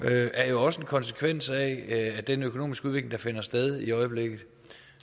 er jo også en konsekvens af den økonomiske udvikling der finder sted i øjeblikket